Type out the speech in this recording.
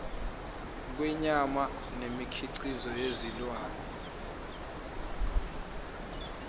kwenyama nemikhiqizo yezilwane